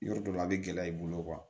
Yɔrɔ dɔ la a bɛ gɛlɛya i bolo